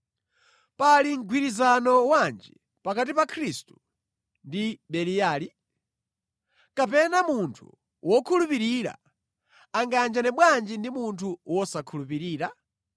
Pali mgwirizano wanji pakati pa Khristu ndi Beliyali? Kapena munthu wokhulupirira angayanjane bwanji ndi munthu wosakhulupirira?